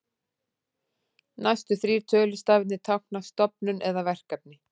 Næstu þrír tölustafirnir tákna stofnun eða verkefni.